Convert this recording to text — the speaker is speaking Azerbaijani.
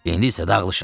İndi isə dağılışın.